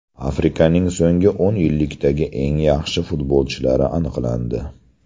Afrikaning so‘nggi o‘n yillikdagi eng yaxshi futbolchilari aniqlandi.